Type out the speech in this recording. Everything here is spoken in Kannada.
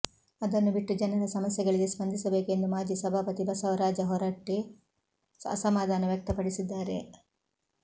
ಅದನ್ನು ಬಿಟ್ಟು ಜನರ ಸಮಸ್ಯೆಗಳಿಗೆ ಸ್ಪಂದಿಸಬೇಕು ಎಂದು ಮಾಜಿ ಸಭಾಪತಿ ಬಸವರಾಜ ಹೊರಟ್ಟಿ ಅಸಮಾಧಾನ ವ್ಯಕ್ತಪಡಿಸಿದ್ದಾರೆ